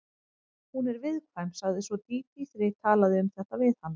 Hún er viðkvæm, sagði svo Dídí þegar ég talaði um þetta við hana.